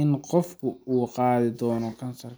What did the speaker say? in qofku uu qaadi doono kansar.